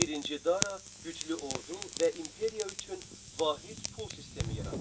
Birinci Dara güclü ordu və imperiya üçün vahid pul sistemi yaratdı.